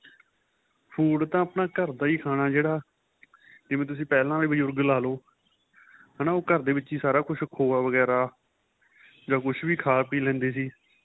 food ਤਾਂ ਆਪਣਾਂ ਘਰ ਦਾ ਖਾਣਾ ਜਿਹੜਾ ਜਿਵੇਂ ਤੁਸੀਂ ਪਹਿਲਾਂ ਵਾਲੇ ਬਜ਼ੁਰਗ ਲਾਲੋ ਹੈਨਾ ਉਹ ਘਰ ਦੇ ਵਿੱਚ ਸਾਰਾ ਕੁੱਛ ਖੋਆ ਵਗੇਰਾ ਜਾਂ ਕੁੱਛ ਵੀ ਖਾਂ ਪੀਹ ਲੈਂਦੇ ਸੀ